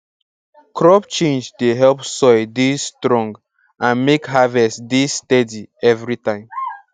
crop change dey help soil dey strong and make harvest dey steady every time